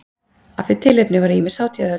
Af því tilefni voru ýmis hátíðahöld.